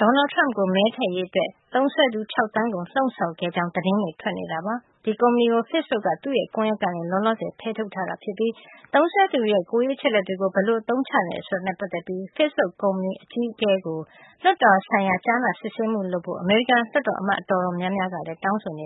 ဒေါ်နလ်ထရမ့်ကိုမဲထည့်ရေး Facebook သုံးစွဲသူ ၆သန်းကိုလှုံ့ဆော်ခဲ့တဲ့အကြောင်း သတင်းတွေထွက်နေပါတယ်။ Cambridge Analytica ကုမ္ပဏီကို Facebookက သူ့ရဲ့ကွန်ယက်ထဲကနေ လောလောဆယ်မှာ ဖယ်ထုတ်ထားပါတယ်။ Facebook သုံးစွဲသူတွေရဲ့ ကိုယ်ရေးအချက်လက်တွေကို ဘယ်လိုအသုံးချနေသလဲဆိုတာနဲ့ပတ် သက်ပြီး Facebook ကုမ္ပဏီရဲ့အကြီးအကဲ Mark Zuckerberg ကို လွှတ်တော်ဆိုင်ရာ ကြားနာစစ်ဆေးမှုလုပ်ဖို့ အမေရိ ကန်လွှတ်တော်အမတ် တော်တော်များများကလည်း တောင်းဆိုနေ